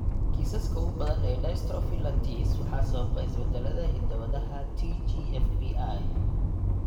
Kiisaska ugu badan ee dystrophy lattice waxaa sababa isbeddellada hidda-wadaha TGFBI.